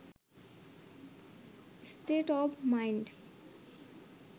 state of mind